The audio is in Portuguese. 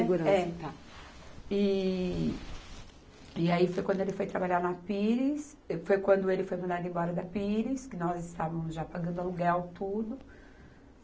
Segurança. É. Tá. E, e aí foi quando ele foi trabalhar na Pires, foi quando ele foi mandado embora da Pires, que nós estávamos já pagando aluguel tudo.